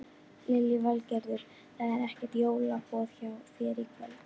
Lillý Valgerður: Það er ekkert jólaboð hjá þér í kvöld?